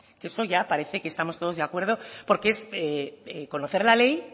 eso ya parece que estamos todos de acuerdo porque es conocer la ley